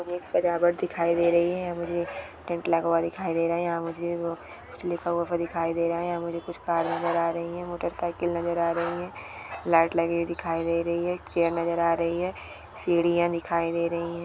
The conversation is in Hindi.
सजावट दिखाई दे रही है मुझे टेंट लगा हुआ दिखाई दे रहा है यहाँ मुझे वो कुछ लिखा हुआ भी दिखाई दे रहा है यहाँ मुझे कुछ खास नजर आ रही है मोटरसाइकिल नजर आ रही है लाइट लगी हुई दिखाई दे रही है चेयर नज़र आ रही है सीढ़ियां दिखाई दे रही है।